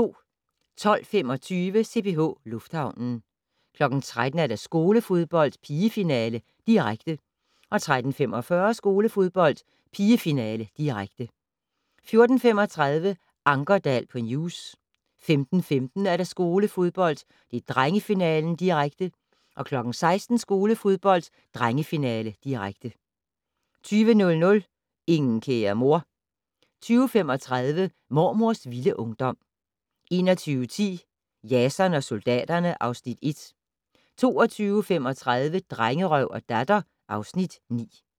12:25: CPH Lufthavnen 13:00: Skolefodbold: Pigefinale, direkte 13:45: Skolefodbold: Pigefinale, direkte 14:35: Ankerdal på News 15:15: Skolefodbold: Drengefinale, direkte 16:00: Skolefodbold: Drengefinale, direkte 20:00: Ingen kære mor 20:35: Mormors vilde ungdom 21:10: Jason og soldaterne (Afs. 1) 22:35: Drengerøv og Datter (Afs. 9)